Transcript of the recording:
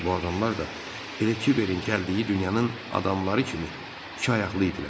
Bu adamlar da elə kiberin gəldiyi dünyanın adamları kimi iki ayaqlı idilər.